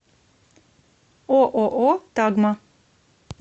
ооо тагма